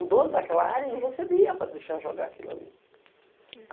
O dono daquela área, ele recebia para deixar jogar aquilo ali.